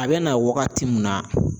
A bɛ na waagati min na.